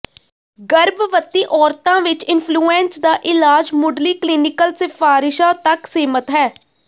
ਗਰਭਵਤੀ ਔਰਤਾਂ ਵਿਚ ਇਨਫਲੂਐਂਜ ਦਾ ਇਲਾਜ ਮੁਢਲੀ ਕਲੀਨਿਕਲ ਸਿਫਾਰਿਸ਼ਾਂ ਤੱਕ ਸੀਮਤ ਹੈ